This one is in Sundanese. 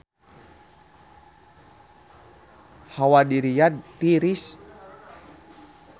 Hawa di Riyadh tiris